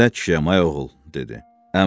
Mən nə kişiyəm, ay oğul, dedi.